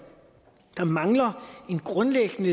mangler en grundlæggende